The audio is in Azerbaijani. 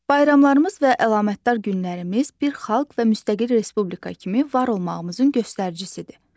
Bayramlarımız və əlamətdar günlərimiz bir xalq və müstəqil Respublika kimi var olmağımızın göstəricisidir.